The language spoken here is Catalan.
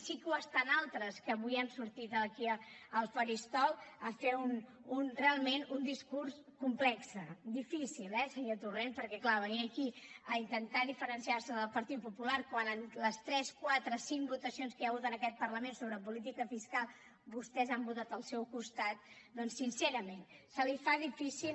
sí que ho estan altres que avui han sortit aquí al faristol a fer realment un discurs complex difícil eh senyor torrent perquè clar venir aquí a intentar diferenciar se del partit popular quan en les tres quatre cinc votacions que hi ha hagut en aquest parlament sobre política fiscal vostès han votat al seu costat doncs sincerament se li fa difícil